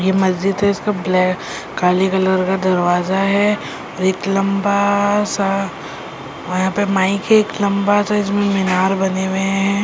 ये मस्जिद है इसका ब्लैक काली कलर का दरवाजा है एक लंबा सा यहां पे माइक है एक लंबा साइज में मीनार बने हुए हैं।